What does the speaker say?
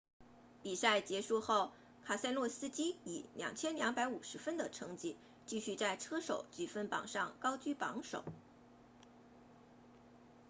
比赛结束后凯塞洛斯基以 2,250 分的成绩继续在车手积分榜上高居榜首